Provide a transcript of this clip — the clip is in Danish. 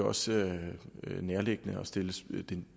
også nærliggende at stille det